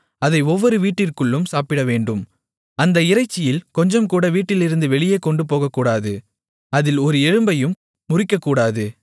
அதை ஒவ்வொரு வீட்டிற்குள்ளும் சாப்பிடவேண்டும் அந்த இறைச்சியில் கொஞ்சம்கூட வீட்டிலிருந்து வெளியே கொண்டுபோகக்கூடாது அதில் ஒரு எலும்பையும் முறிக்கக்கூடாது